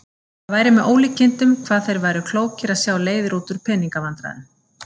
Það væri með ólíkindum hvað þeir væru klókir að sjá leiðir út úr pening- vandræðum.